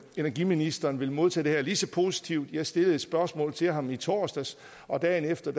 energiministeren vil modtage det her lige så positivt jeg stillede et spørgsmål til ham i torsdags og dagen efter